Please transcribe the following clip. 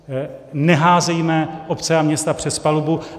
Neházejme obce a města přes palubu.